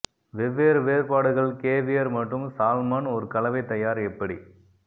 வெவ்வேறு வேறுபாடுகள் கேவியர் மற்றும் சால்மன் ஒரு கலவை தயார் எப்படி